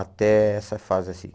Até essa fase assim.